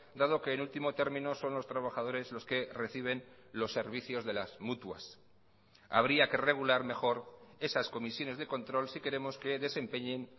dado que en último término son los trabajadores los que reciben los servicios de las mutuas habría que regular mejor esas comisiones de control si queremos que desempeñen